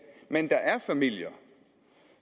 men der er familier